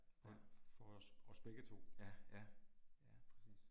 Og for os os begge 2